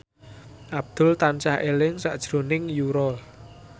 Abdul tansah eling sakjroning Yura